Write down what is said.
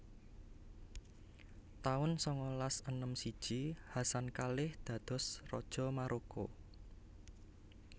taun sangalas enem siji Hassan kalih dados Raja Maroko